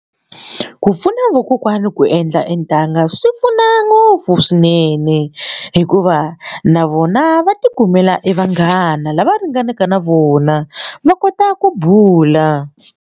Ku pfuna vakokwana ku endla e ntanga swi pfuna ngopfu swinene hikuva na vona va tikumela e vanghana lava ringanaka na vona va kota ku bula.